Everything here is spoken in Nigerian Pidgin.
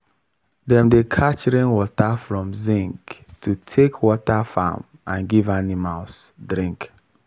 dem dey catch rainwater from zinc to take water farm and give animals drink.